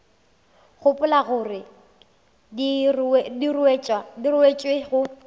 gopola gore di ruetšwe go